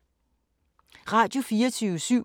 Radio24syv